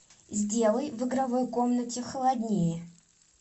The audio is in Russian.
сделай в игровой комнате холоднее